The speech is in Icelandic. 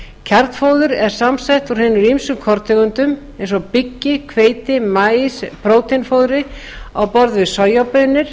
kjarnfóður er samsett úr hinum ýmsu korntegundum eins og byggi hveiti og maís prótínfóðri á borð við sojabaunir